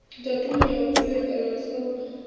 datumu ya u kovhekanya sapu